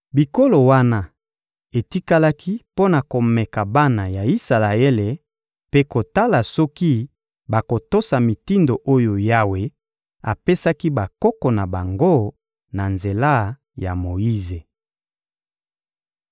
Bikolo wana etikalaki mpo na komeka bana ya Isalaele mpe kotala soki bakotosa mitindo oyo Yawe apesaki bakoko na bango na nzela ya Moyize.